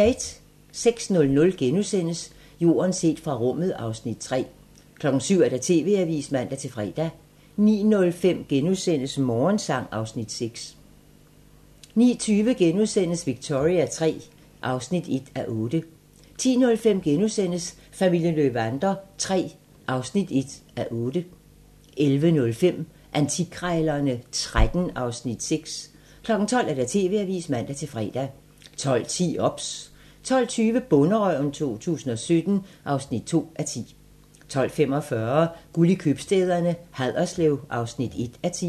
06:00: Jorden set fra rummet (Afs. 3)* 07:00: TV-avisen (man-fre) 09:05: Morgensang (Afs. 6)* 09:20: Victoria III (1:8)* 10:05: Familien Löwander III (1:8)* 11:05: Antikkrejlerne XIII (Afs. 6) 12:00: TV-avisen (man-fre) 12:10: OBS 12:20: Bonderøven 2017 (2:10) 12:45: Guld i købstæderne: Haderslev (1:10)